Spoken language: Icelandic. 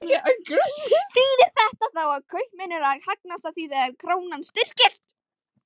Þýðir þetta þá að kaupmenn eru að hagnast á því þegar krónan styrkist?